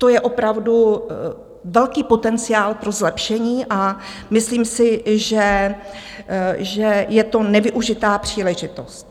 To je opravdu velký potenciál pro zlepšení a myslím si, že je to nevyužitá příležitost.